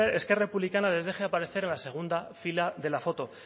esquerra republicana les deje aparecer en la segunda fila de la foto